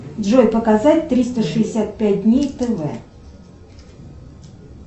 джой показать триста шестьдесят пять дней тв